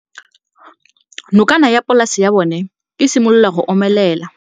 Nokana ya polase ya bona, e simolola go omelela.